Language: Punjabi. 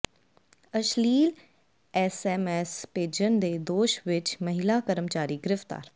ਅਸ਼ਲੀਲ ਐਸਐਮਐਸ ਭੇਜਣ ਦੇ ਦੋਸ਼ ਵਿੱਚ ਮਹਿਲਾ ਕਰਮਚਾਰੀ ਗ੍ਰਿਫ਼ਤਾਰ